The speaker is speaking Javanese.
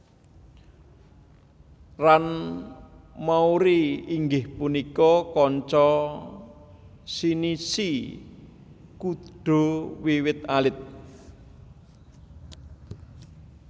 Ran Mouri inggih punika konca Shinichi Kudo wiwit alit